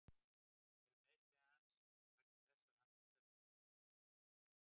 Eru meiðsli hans vegna þess að hann hugsar ekki nægilega vel um sig?